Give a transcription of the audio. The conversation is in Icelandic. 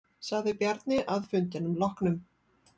Sagði Bjarni að fundinum loknum.